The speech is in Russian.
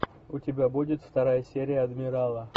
у тебя будет вторая серия адмирала